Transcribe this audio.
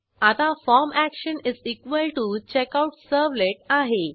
आता form action checkout servlet आहे